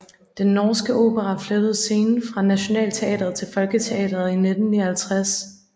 Den Norske Opera flyttede scene fra Nationaltheatret til Folketeatret i 1959